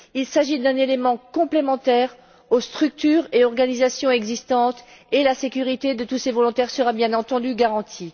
Il s'agit d'un élément complémentaire aux structures et organisations existantes, et la sécurité de tous ces volontaires sera bien entendu garantie.